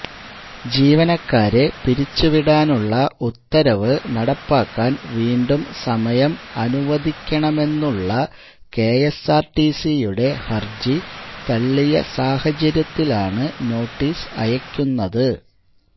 ജീവനക്കാരെ പിരിച്ച് വിടാനുള്ള ഉത്തരവ് നടപ്പാക്കാന് വീണ്ടും സമയം അനുവദിക്കണമെന്നുളള കെഎസ്ആര്ടിസിയുടെ ഹര്ജി തള്ളിയ സാഹചര്യത്തിലാണ് നോട്ടീസ് അയക്കുന്നത്